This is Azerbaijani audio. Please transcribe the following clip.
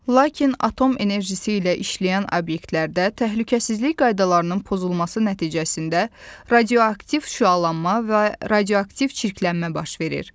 Lakin atom enerjisi ilə işləyən obyektlərdə təhlükəsizlik qaydalarının pozulması nəticəsində radioaktiv şüalanma və radioaktiv çirklənmə baş verir.